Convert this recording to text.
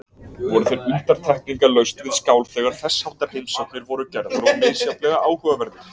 Voru þeir undantekningarlaust við skál þegar þessháttar heimsóknir voru gerðar og misjafnlega áhugaverðir.